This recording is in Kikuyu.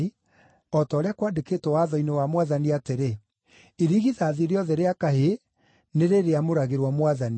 (o ta ũrĩa kwandĩkĩtwo Watho-inĩ wa Mwathani atĩrĩ, “Irigithathi rĩothe rĩa kahĩĩ nĩ rĩrĩamũragĩrwo Mwathani”),